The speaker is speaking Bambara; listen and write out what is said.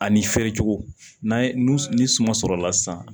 Ani feere cogo n'a ye nu ni suman sɔrɔla sisan